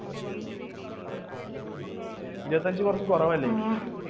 ഇരുപത്തി അഞ്ച് കുറച്ചു കുറവല്ലേ?